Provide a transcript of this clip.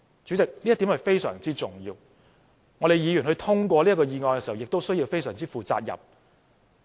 主席，這一點非常重要，議員通過議案時，也必須非常負責任。